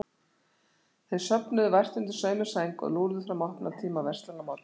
Þau sofnuðu vært undir sömu sæng, og lúrðu fram að opnunartíma verslana morguninn eftir.